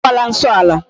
E mekwala nsọ ala.